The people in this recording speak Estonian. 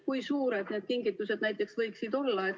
Kui suured need kingitused võiksid olla?